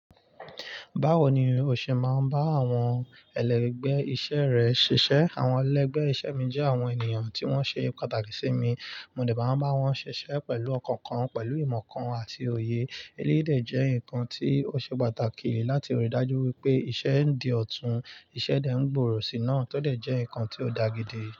Báwo ni ó ṣe máa ń bá àwọn ẹ lẹgbẹ ìṣe rẹ ṣíṣe? Àwọn ẹlẹgbẹ́ iṣẹ́ mi jẹ́ àwọn ènìyàn tí wọ́n ṣe pàtàkì sí mi, mo lè máa ń bá wọn ṣiṣẹ́ pẹ̀lú ọkàn kan, pẹ̀lú ìmọ̀ kan àti òye. Elédè jẹ́ nǹkan tí ó ṣe pàtàkì láti rí i dájú wípé iṣẹ́ ń di ọ̀tún, iṣẹ́ dẹ ń gbòòrò sí i náà, tọ dẹ̀ jẹ́ ǹkan tí ó ń dá gidi.